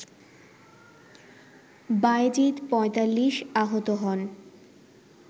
বায়েজীদ ৪৫ আহত হন